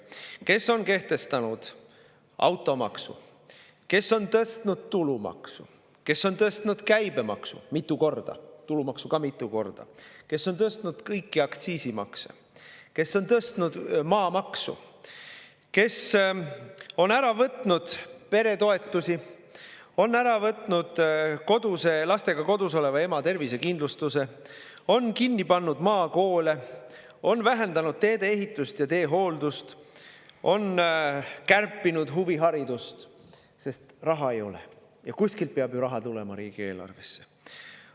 Ta on kehtestanud automaksu, on tõstnud tulumaksu, on tõstnud käibemaksu mitu korda – tulumaksu ka mitu korda –, on tõstnud kõiki aktsiise, on tõstnud maamaksu, on ära võtnud peretoetusi, on ära võtnud lastega kodus oleva ema tervisekindlustuse, on kinni pannud maakoole, on vähendanud tee-ehitust ja teehooldust, on kärpinud huviharidust, sest raha ei ole ja kuskilt peab raha ju riigieelarvesse tulema.